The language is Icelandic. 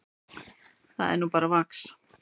Það er nú bara vax.